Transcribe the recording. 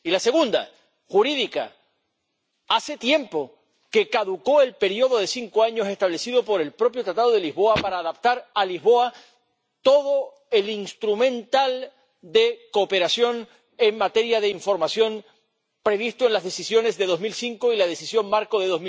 Y la segunda, jurídica hace tiempo que caducó el período de cinco años establecido por el propio Tratado de Lisboa para adaptar a Lisboa todo el instrumental de cooperación en materia de información previsto en las Decisiones de 2005 y la Decisión marco de